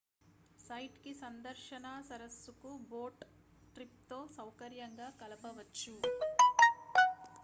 site కి సందర్శన సరస్సుకు బోట్ ట్రిప్ తో సౌకర్యంగా కలపవచ్చు